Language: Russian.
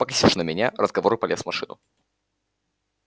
покосившись на меня разговор и полез в машину